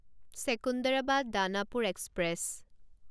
Secunderabad Danapur express